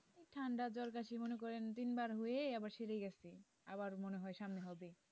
ঠান্ডা জ্বর কাশি মনে করেন তিনবার হয়ে আবার সেরে গেছে আবার মনে হয় সামনে হবে।